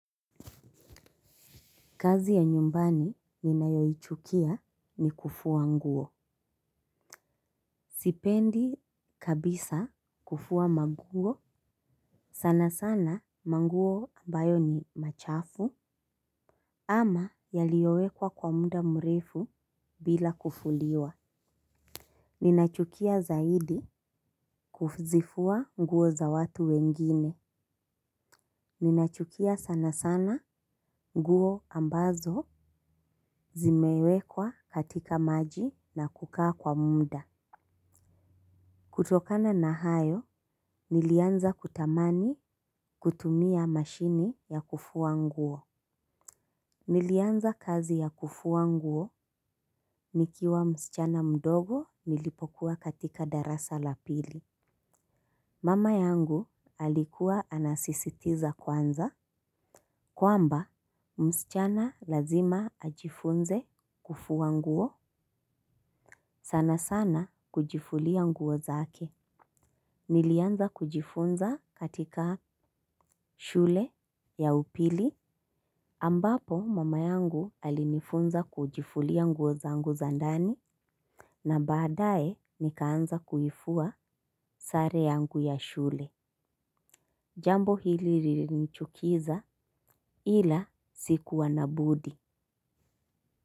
Kazi ya nyumbani ninayoichukia ni kufua nguo. Sipendi kabisa kufua maguo. Sana sana manguo ambayo ni machafu. Ama yaliowekwa kwa mda mrefu bila kufuliwa. Ninaichukia zaidi kuzifua nguo za watu wengine. Ninaichukia sana sana nguo ambazo zimewekwa katika maji na kukaa kwa mda. Kutokana na hayo, nilianza kutamani kutumia mashini ya kufua nguo. Nilianza kazi ya kufua nguo nikiwa msichana mdogo nilipokuwa katika darasa la pili. Mama yangu alikua anasisitiza kwanza. Kwamba, msichana lazima ajifunze kufua nguo. Sana sana kujifulia nguo zake. Nilianza kujifunza katika shule ya upili ambapo mama yangu alinifunza kujifulia nguo zangu za ndani na baadae nikaanza kuifua sare yangu ya shule. Jambo hili lilinichukiza ila sikuwa na budi.